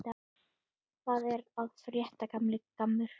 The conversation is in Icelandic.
Hvað er að frétta, gamli gammur?